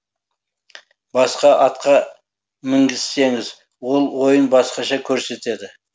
басқа атқа мінгізсеңіз ол ойын басқаша көрсетеді